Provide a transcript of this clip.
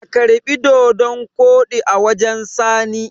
a karbi dodon Kodi a wajen sani!